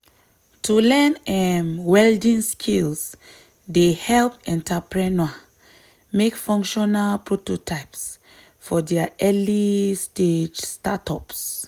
to learn um welding skills dey help entrepreneurs make functional prototypes for dia early-stage startups.